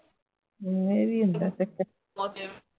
ਜਿਵੇਂ ਹੀ ਹੁੰਦਾ ਹੈ